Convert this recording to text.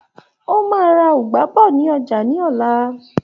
O máa ra Ugba bọ̀ ní ọjà ní òla.